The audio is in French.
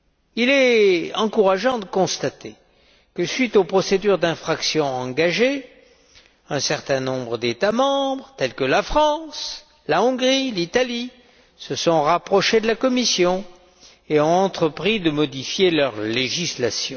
Il est encourageant de constater que, à la suite des procédures d'infraction engagées, un certain nombre d'États membres, tels que la France, la Hongrie, l'Italie, se sont rapprochés de la Commission et ont entrepris de modifier leur législation.